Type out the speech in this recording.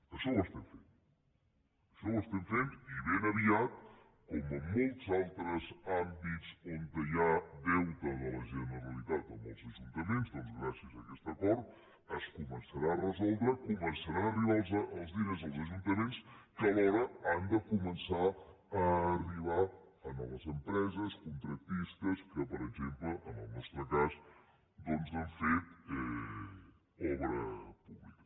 això ho estem fent això ho estem fent i ben aviat com en molts altres àmbits on hi ha deute de la generalitat amb els ajuntaments doncs gràcies a aquest acord es començarà a resoldre començaran a arribar els diners als ajuntaments que alhora han de començar a arribar a les empreses contractistes que per exemple en el nostre cas han fet obra pública